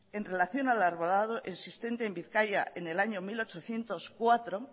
en relación al arbolado existente en bizkaia en el año mil ochocientos cuatro